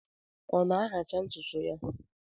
Ọ na-ahacha ntụtụ ya?